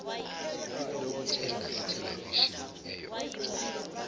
lokuthenga ithelevishini eyodwa